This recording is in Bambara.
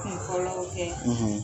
Ala y'o kɛ;